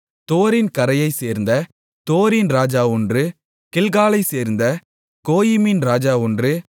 தோரின் கரையைச் சேர்ந்த தோரின் ராஜா ஒன்று கில்காலைச்சேர்ந்த கோயிமின் ராஜா ஒன்று